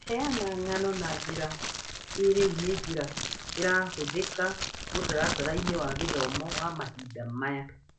Kũheana ng'ano na njĩra kĩĩrĩu nĩ njĩra ĩrahũthĩka mũtaratara-inĩ wa gĩthomo wa mahinda maya